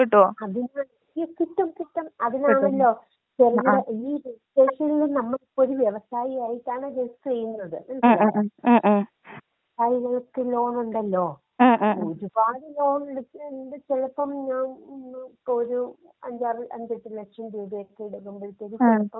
അതിന് ഈ കിട്ടും കിട്ടും. അതിനാണല്ലോ ചെറുകിട ഈ രെജിസ്ട്രേഷനില് നമ്മളൊരു വ്യവസായി ആയിട്ടാണ് രജിസ്റ്റർ ചെയ്യുന്നത്. മനസ്സിലായോ? അതിനകത്ത് ലോൺ ഉണ്ടല്ലോ? ഒരുപാട് ലോൺ എടുത്ത് ചെലപ്പം ഞാൻ ഒരു അഞ്ചാറ് അഞ്ചെട്ട് ലക്ഷം രൂപയൊക്കെ ഇടുക്കുമ്പഴത്തേക്ക് ചെലപ്പം.